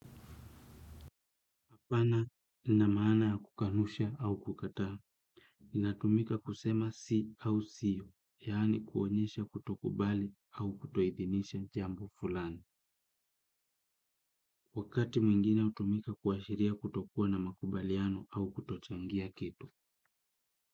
Apana inamaana ya kukanusha au kukataa, inatumika kusema si au sio, yaani kuonyesha kutokubali au kutoithinisha jambo fulani. Wakati mwingine hutumika kuashiria kutokuwa na makubaliano au kutochangia kitu.